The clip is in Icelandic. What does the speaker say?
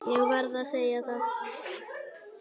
Ég verð að segja það.